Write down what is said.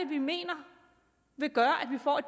vi mener vil gøre at vi får